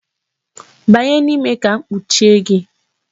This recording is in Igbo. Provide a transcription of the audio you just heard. Banye n'ime ka m kpuchie gị!